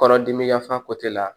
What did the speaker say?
Kɔnɔdimi yafa la